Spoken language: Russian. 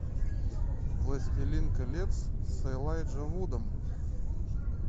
властелин колец с элайджа вудом